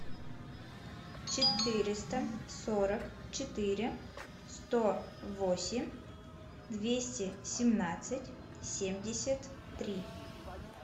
четыреста сорок четыре сто восемь двести семнадцать семьдесят три